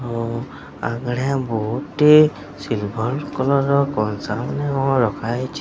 ମୋ ଆଗରେ ବହୁତି ସିଲ୍ଭର୍ କଲର୍ ର କଂସା ମାନ ରଖା ହେଇଚି।